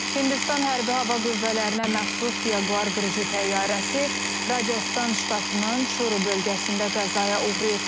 Hindistan Hərbi Hava Qüvvələrinə məxsus Jaguar qırıcı təyyarəsi Racastan ştatının Çuru bölgəsində qəzaya uğrayıb.